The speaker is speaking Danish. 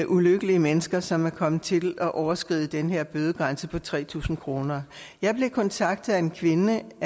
ulykkelige mennesker som er kommet til at overskride den her bødegrænse på tre tusind kroner jeg blev kontaktet af en kvinde